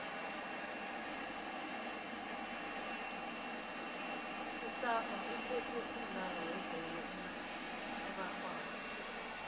isafa iphethe umdlalo webholo erarhwako